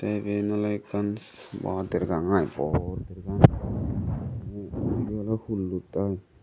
teh eben oleh ekkan ba dergang i bor dergang ebeh oleh hullot i.